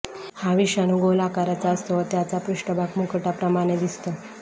हा विषाणू गोल आकाराचा असतो व त्याचा पृष्ठभाग मुकुटाप्रमाणे दिसतो